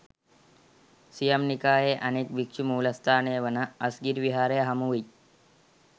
සියම් නිකායේ අනෙක් භික්ෂු මූලස්ථානය වන අස්ගිරි විහාරය හමුවෙයි.